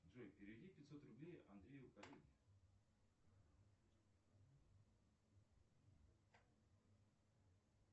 джой переведи пятьсот рублей андрею